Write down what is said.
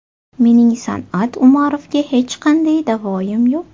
Mening San’at Umarovga hech qanday da’voyim yo‘q.